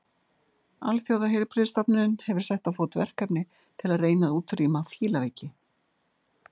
Alþjóðaheilbrigðisstofnunin hefur sett á fót verkefni til að reyna að útrýma fílaveiki.